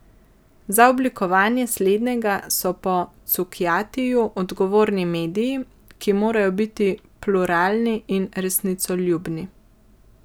Za oblikovanje slednjega so po Cukjatiju odgovorni mediji, ki morajo biti pluralni in resnicoljubni.